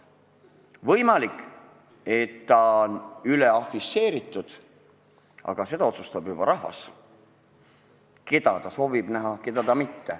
Võimalik, et ta on üleafišeeritud, aga seda, keda soovitakse näha ja keda mitte, otsustab juba rahvas.